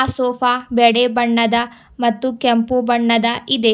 Sofa ಬೆಳ್ಳಿ ಬಣ್ಣದ ಮತ್ತು ಕೆಂಪು ಬಣ್ಣದ ಇದೆ.